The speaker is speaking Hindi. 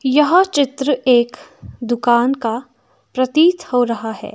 यह चित्र एक दुकान का प्रतीत हो रहा है।